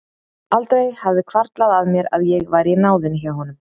Aldrei hafði hvarflað að mér að ég væri í náðinni hjá honum!